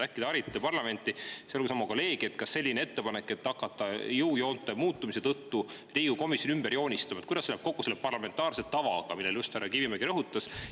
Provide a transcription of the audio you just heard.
Äkki harite parlamenti, sealhulgas oma kolleegi,, kuidas läheb ettepanek, et jõujoonte muutumise tõttu hakatakse Riigikogus komisjone ümber joonistama, kokku selle parlamentaarse tavaga, mida härra Kivimägi just rõhutas?